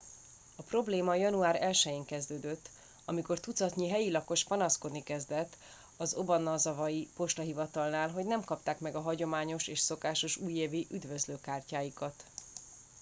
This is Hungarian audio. a probléma január 1 én kezdődött amikor tucatnyi helyi lakos panaszkodni kezdett az obanazawai postahivatalnál hogy nem kapták meg a hagyományos és szokásos újévi üdvözlőkártyáikat